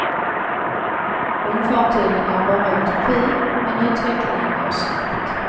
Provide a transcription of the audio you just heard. Ångfartygen är bara en utopi, men utvecklingen går snabbt.